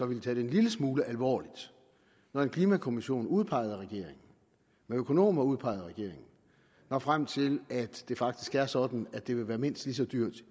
ville tage det en lille smule alvorligt når en klimakommission udpeget af regeringen med økonomer udpeget af regeringen når frem til at det faktisk er sådan at det vil være mindst lige så dyrt